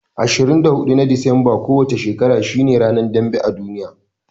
24 na Disambar kowa ce shekara shine ranar dambe a duniya.